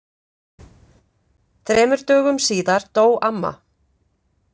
Þremur dögum síðar dó amma.